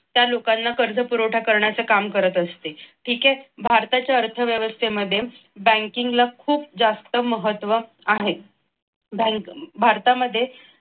त्या लोकांना कर्ज पुरवठा करण्याचे काम करत असते. ठीक आहे. भारताच्या अर्थव्यवस्थेमध्ये banking ला खूप जास्त महत्त्व आहे. बँक भारतामध्ये